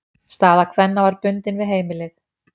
Staða kvenna var bundin við heimilið.